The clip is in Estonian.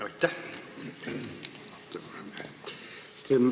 Aitäh!